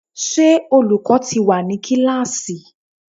Ṣé olùkọ́ ti wà ní kíláàsì?